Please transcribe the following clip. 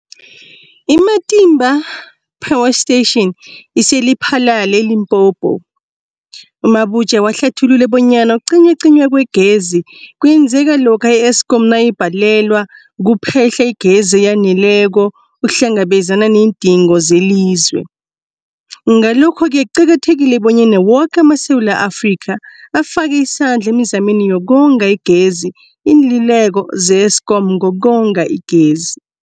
I-Matimba Power Station ise-Lephalale, eLimpopo. U-Mabotja wahlathulula bonyana ukucinywacinywa kwegezi kwenzeka lokha i-Eskom nayibhalelwa kuphe-hla igezi eyaneleko ukuhlangabezana neendingo zelizwe. Ngalokho-ke kuqakathekile bonyana woke amaSewula Afrika afake isandla emizameni yokonga igezi. Iinluleko ze-Eskom ngokonga igezi.